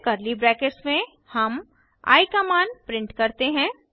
फिर curly brackets में हम आई का मान प्रिंट करते हैं